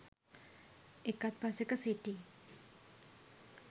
එකත්පසෙක සිටි